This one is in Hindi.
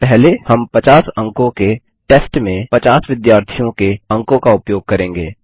पहले हम 50 अंकों के टेस्ट में 50 विद्यार्थियों के अंकों का उपयोग करेंगे